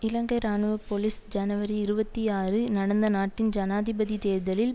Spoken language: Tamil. இலங்கை இராணுவ போலிஸ் ஜனவரி இருபத்தி ஆறு நடந்த நாட்டின் ஜனாதிபதி தேர்தலில்